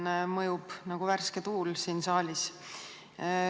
See mõjub nagu värske tuul siin saalis.